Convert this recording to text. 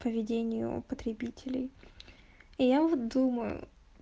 поведению потребителей я вот думаю